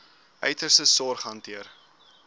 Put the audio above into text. uiterste sorg hanteer